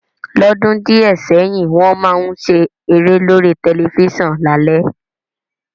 Lódún dìẹ̀ sẹ́hìn, won má n se eré lórí tẹlifísàn lálé